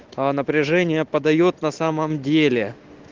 а напряжение подаёт на самом деле